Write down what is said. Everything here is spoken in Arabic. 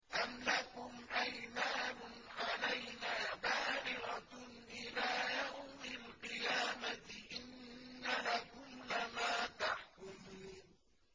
أَمْ لَكُمْ أَيْمَانٌ عَلَيْنَا بَالِغَةٌ إِلَىٰ يَوْمِ الْقِيَامَةِ ۙ إِنَّ لَكُمْ لَمَا تَحْكُمُونَ